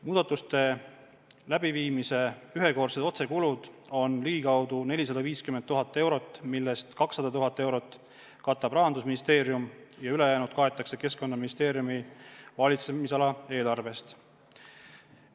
Muudatuste läbiviimise ühekordsed otsekulud on ligikaudu 450 000 eurot, millest 200 000 eurot katab Rahandusministeerium ja ülejäänud kaetakse Keskkonnaministeeriumi valitsemisala eelarvest.